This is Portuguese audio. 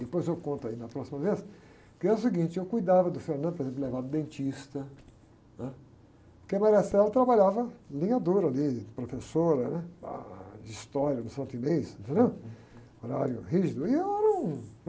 depois eu conto aí na próxima vez, que é o seguinte, eu cuidava do, por exemplo, levava o dentista, né? Porque a trabalhava linha dura ali, professora, né? Ãh, de história no Santo Inês, horário rígido, e eu era um...